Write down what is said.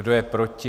Kdo je proti?